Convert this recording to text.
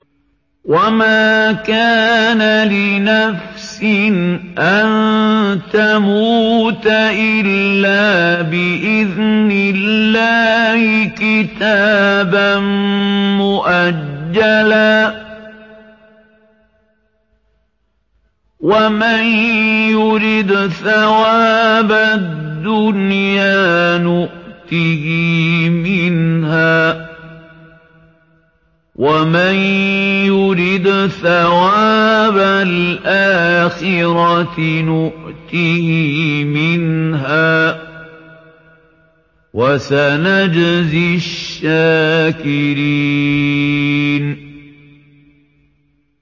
وَمَا كَانَ لِنَفْسٍ أَن تَمُوتَ إِلَّا بِإِذْنِ اللَّهِ كِتَابًا مُّؤَجَّلًا ۗ وَمَن يُرِدْ ثَوَابَ الدُّنْيَا نُؤْتِهِ مِنْهَا وَمَن يُرِدْ ثَوَابَ الْآخِرَةِ نُؤْتِهِ مِنْهَا ۚ وَسَنَجْزِي الشَّاكِرِينَ